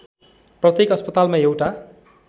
प्रत्येक अस्पतालमा एउटा